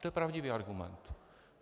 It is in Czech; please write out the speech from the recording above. To je pravdivý argument.